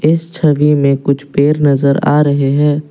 इस छवि में कुछ पेड़ नजर आ रहे हैं।